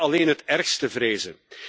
We kunnen alleen het ergste vrezen.